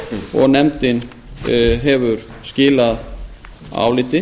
og nefndin hefur skilað áliti